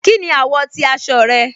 Kíni awọ̀ ti aṣọ rẹ̀?